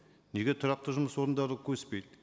неге тұрақты жұмыс орындары өспейді